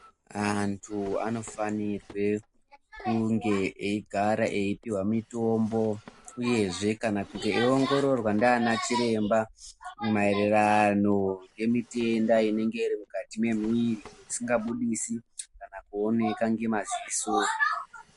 Vantu anofanirwe kunge egare epihwa mutombo uyezve kana kuti achiongororwa nana chiremba mayerarano nemitenda inenge iri mukati memuviri isingabudisi kana kuonekwa ngemaziso.